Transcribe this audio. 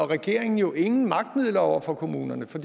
regeringen jo ingen magtmidler over for kommunerne for